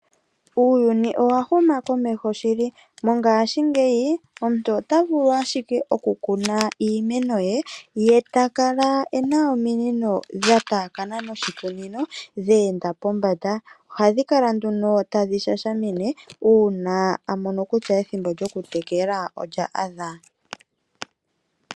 Uuyuni owa huma komeho shili mongaashingeyi omuntu ota vulu ashike okukuna iimeno ye, ye ta kala e na ominino dha taakana noshikunino dheenda pombanda oha dhi kala nduno tadhi shashamine uuna a mono kutya ethimbo lyokutekela olya adha.